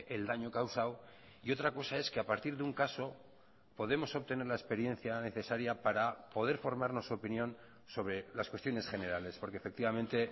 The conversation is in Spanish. el daño causado y otra cosa es que a partir de un caso podemos obtener la experiencia necesaria para poder formarnos opinión sobre las cuestiones generales porque efectivamente